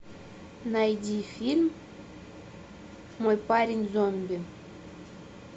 найди фильм мой парень зомби